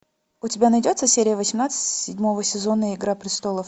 у тебя найдется серия восемнадцать седьмого сезона игра престолов